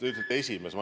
Te ütlesite "esimees".